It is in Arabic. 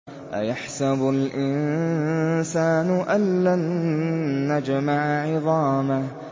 أَيَحْسَبُ الْإِنسَانُ أَلَّن نَّجْمَعَ عِظَامَهُ